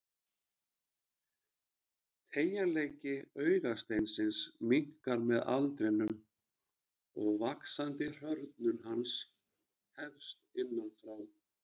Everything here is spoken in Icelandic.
Teygjanleiki augasteinsins minnkar með aldrinum og vaxandi hrörnun hans hefst innan frá.